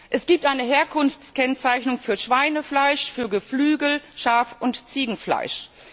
Es gibt eine Herkunftskennzeichnung für Schweinefleisch, für Geflügel Schaf und Ziegenfleisch.